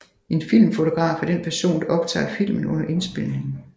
En filmfotograf er den person der optager filmen under indspilningen